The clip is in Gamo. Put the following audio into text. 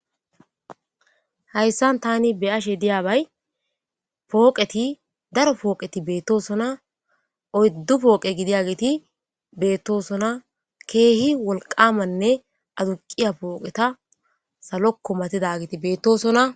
Hayssan tani be ashe diyaabay pooqeti daro pooqeti beettosona oyddu pooqe gidiageti beettosona keehi wolqamanne aduqiya pooqeta saloko matidagiti beettosona.